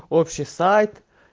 общий сайт